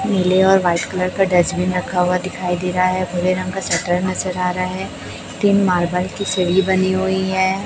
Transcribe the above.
नीले और white colour का डस्टबिन रखा हुआ दिखाई दे रहा है भूरे रंग का शटर नजर आ रहा है तीन मार्बल की सीढ़ी बनी हुई है।